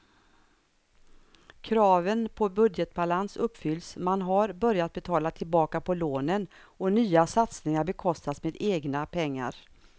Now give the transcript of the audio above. Kraven på budgetbalans uppfylls, man har börjat betala tillbaka på lånen och nya satsningar bekostas med egna pengar.